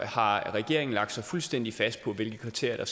har regeringen lagt sig fuldstændig fast på hvilke kriterier